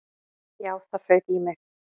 Já, það fauk í mig.